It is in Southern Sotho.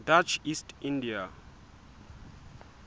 dutch east india